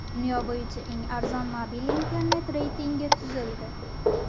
Dunyo bo‘yicha eng arzon mobil internet reytingi tuzildi.